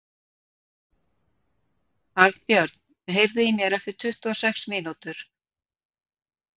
Arnbjörn, heyrðu í mér eftir tuttugu og sex mínútur.